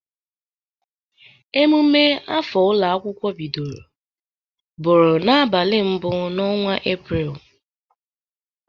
Emume afọ ụlọ akwụkwọ bidoro bụrụ n'abali mbụ n'ọnwa Epreel.